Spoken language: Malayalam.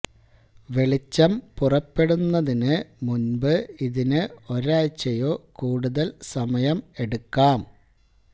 വെളിച്ചം പുറപ്പെടുന്നതിന് മുമ്പ് ഇതിന് ഒരാഴ്ചയോ കൂടുതൽ സമയം എടുക്കാം